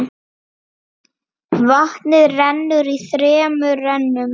Vatnið rennur í þremur rennum.